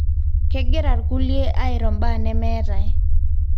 kegira irkulie airo mbaa nemetae